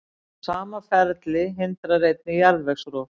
Sama ferli hindrar einnig jarðvegsrof.